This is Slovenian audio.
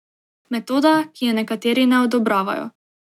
Metoda, ki je nekateri ne odobravajo.